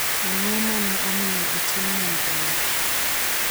Ang’o ma ne omiyo otim nonrono?